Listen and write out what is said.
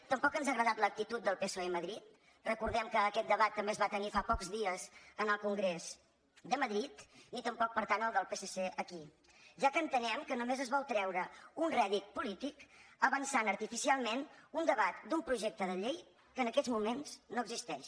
tampoc ens ha agradat l’actitud del psoe a madrid recordem que aquest debat també es va tenir fa pocs dies en el congrés de madrid ni tampoc per tant la del psc aquí ja que entenem que només es vol treure un rèdit polític avançant artificialment un debat d’un projecte de llei que en aquests moments no existeix